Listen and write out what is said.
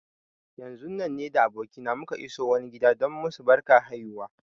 Yanzun nan ni da abokina muka iso wani gida don musu barkar haihuwa